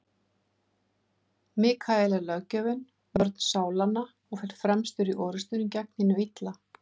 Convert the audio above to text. Mikael er löggjafinn, vörn sálanna, og fer fremstur í orrustunni gegn hinu illa.